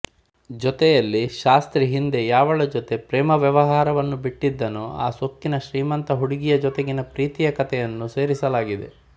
ಜತೆಯಲ್ಲಿ ಶಾಸ್ತ್ರಿ ಹಿಂದೆ ಯಾವಳ ಜತೆ ಪ್ರೇಮವ್ಯವಹಾರವನ್ನು ಬಿಟ್ಟಿದ್ದನೋ ಆ ಸೊಕ್ಕಿನ ಶ್ರೀಮಂತ ಹುಡುಗಿಯ ಜತೆಗಿನ ಪ್ರೀತಿಯ ಕತೆಯನ್ನು ಸೇರಿಸಲಾಗಿದೆ